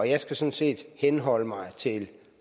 jeg skal sådan set henholde mig til